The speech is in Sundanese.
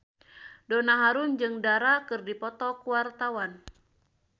Donna Harun jeung Dara keur dipoto ku wartawan